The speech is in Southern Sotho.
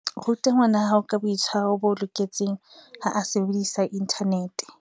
Ruta ngwanahao ka boitshwaro bo loketseng ha a sebedisa inthanete.